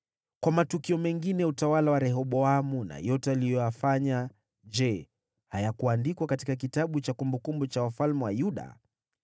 Kwa matukio mengine ya utawala wa Rehoboamu na yote aliyoyafanya, je, hayakuandikwa katika kitabu cha kumbukumbu za wafalme wa Yuda?